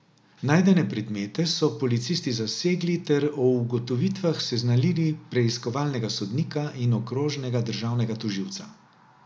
Najdene predmete so policisti zasegli ter o ugotovitvah seznanili preiskovalnega sodnika in okrožnega državnega tožilca.